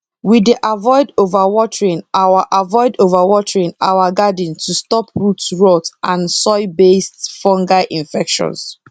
we dey avoid overwatering our avoid overwatering our garden to stop root rot and soilbased fungal infections